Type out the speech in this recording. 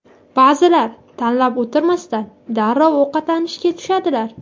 Ba’zilar tanlab o‘tirmasdan darrov ovqatlanishga tushadilar.